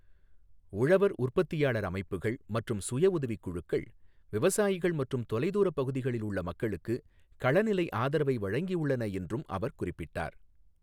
உழவர் உற்பத்தியாளர் அமைப்புகள் மற்றும் சுயஉதவிக் குழுக்கள் விவசாயிகள் மற்றும் தொலைதூரப் பகுதிகளில் உள்ள மக்களுக்கு களநிலை ஆதரவை வழங்கியுள்ளன என்றும் அவர் குறிப்பிட்டார்.